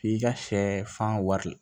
K'i ka sɛfan wari